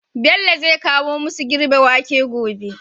Bello zai kawo masu girbe wake gobe